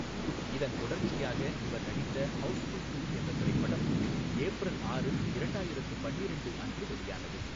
இதன் தொடர்ச்சியாக இவர் நடித்த ஹவுஸ்ஃபுல் டூ என்ற திரைப்படம், ஏப்ரல் ஆறு, இரண்டாயிரத்து பன்னிரெண்டு அன்று வெளியானது.